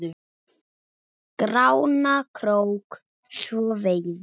Grána krók svo veiði með.